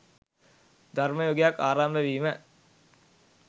ධර්ම යුගයක් ආරම්භ වීම